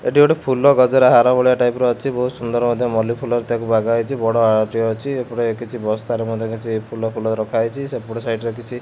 ଏଠି ଗୋଟେ ଫୁଲ ଗଜରା ହାର ଭଳିଆ ଟାଇପ ର ଅଛି ବହୁତ ସୁନ୍ଦର ମଧ୍ୟ୍ୟ ମଲି ଫୁଲ ଟାକୁ ବାଗା ହେଇଛି ବଡ ମାଲ ଟେ ଏପଟେ କିଛି ବସ୍ଥାରେ ମଧ୍ୟ୍ୟ କିଛି ଫୁଲ ଫୁଲ ରଖାହେଇଛି ସେପଟ ସାଇଡ ରେ କିଛି --